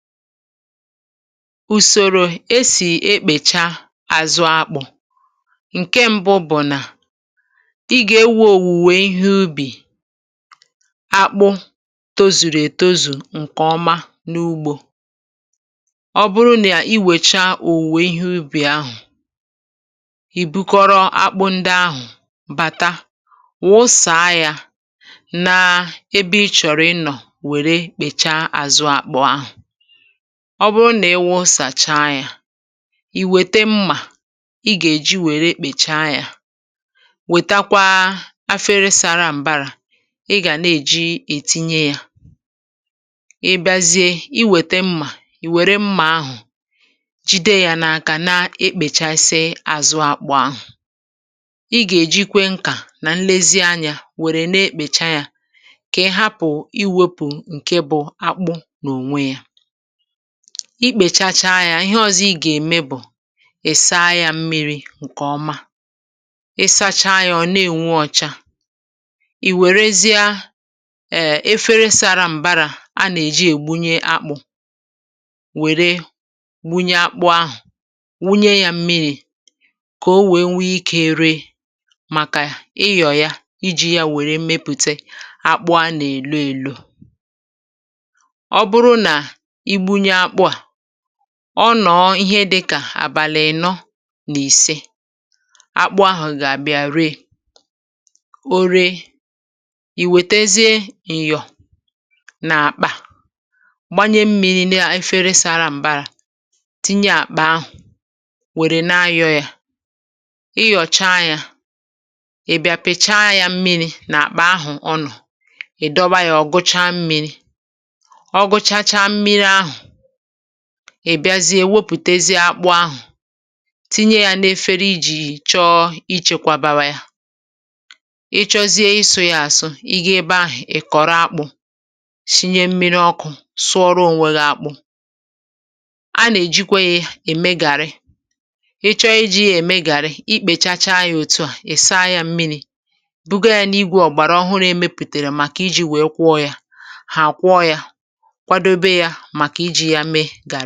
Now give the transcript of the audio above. Usòrò esì ekpècha àzụ akpụ̇, ǹke mbụ bụ̀ nà, ị gà-ewo òwùwè ihe ubì akpụ̇ tozùrù ètozù ǹkè ọma n’ugbȯ. Ọ bụrụ nà i wèchaa òwùwè ihe ubì ahụ̀, ì bukọrọ akpụ ndị ahụ̀ bàta wụ̀sàa yȧ naa ebe ị chọ̀rọ̀ ịnọ̀ wère kpèchaa azụ̇ akpụ̇ ahụ̀. Ọ bụrụ nà ịwụsàcha yȧ, ì wète mmà ị gà-èji wère kpèchaa yȧ, wètakwa afere sara m̀bara ị gà na-èji ètinye yȧ. Ị biazie, i wète mmà, ì wère mmà ahụ̀ jide yȧ nakà na-ekpèchasị àzụ akpụ̇ ahụ̀. Ị gà-èjikwe nkà nà nlezianyȧ wère na-ekpècha yȧ kà ị hapụ̀ iwopù ǹke bụ̇ akpụ n’ònwe yȧ. I kpèchachaa ya, ihe ọzọ ị gà-ème bụ̀ ị̀ saa ya mmiri̇ ǹkè ọma. Ị sachaa ya, ọ̀ na-ènwu ọcha, ì wèrezia um èfere sara m̀barà a nà-èji ègbunye akpụ̇ wère gwunye akpụ̇ ahụ̀, wụnye ya mmiri̇ kà o wèe nwee ree màkà ịyọ̀ ya iji̇ ya wère mepùte akpụ̇ a nà-èlo èlo. Ọ bụrụ na igbunye akpụ a, ọ nọ̀ọ̀ ihe dị̇kà àbàlị̀ ị̀nọ nà ìse, akpụ ahụ̀ gà-àbịa ree. O ree, ì wètezie ịnyọ̀ nà àkpà gbanye mmịrị̇ nefere sara m̀bara, tinye àkpà ahụ̀ wère na-ayọ̇ ya. Ị yọ̀chaa ya, ị bịàpịchaa ya mmịrị̇ nàkpà ahụ̀ ọnọ, ị̀ dọba ya ọ̀gụchaa mmịrị̇, ọ gụchacha mmiri a, ị bịazie wepụtezie akpụ̇ ahụ̀ tinye yȧ n’efere ijì chọọ ichėkwȧbȧya. Ị chọzie ịsụ̇ yȧ àsụ, ị gȧa ebe ahụ̀, ị̀ kọ̀rọ akpụ̇, shinye mmiri ọkụ̇, sụọrọ ònwe gị̇ akpụ. A nà-èjikwe yȧ ème gàrị. Ị chọọ ijì yȧ èmegàrị, ikpèchacha ya òtu à, ị saa yȧ mmiri̇ buga yȧ n’igwė ọ̀gbàrà ọhụrụ e mepụtèrè màkà iji̇ wèe kwọọ yȧ. Hà akwọ yȧ kwadebe ya maka iji ya mee garị.